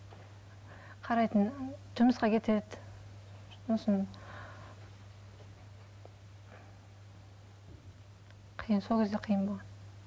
қарайтын жұмысқа кетеді сосын қиын сол кезде қиын болған